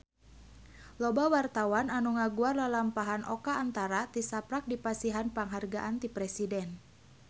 Loba wartawan anu ngaguar lalampahan Oka Antara tisaprak dipasihan panghargaan ti Presiden